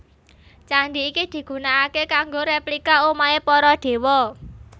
Candi iki digunaaké kanggo replika omahé para Dewa